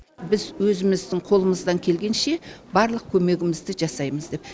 біз өзіміздің қолымыздан келгенше барлық көмегімізді жасаймыз